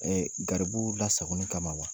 garibu lasagoni kama wa.